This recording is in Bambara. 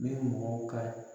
Ni bu mɔgɔw ka